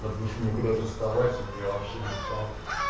допустим мне куда-то вставать я вообще не спал